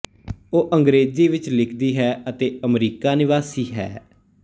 ਉਹ ਅੰਗਰੇਜ਼ੀ ਵਿੱਚ ਲਿਖਦੀ ਹੈ ਅਤੇ ਅਮਰੀਕਾ ਨਿਵਾਸੀ ਹੈ